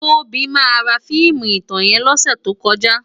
Tobi má rá fiimú itán yèn lòsè tókòjá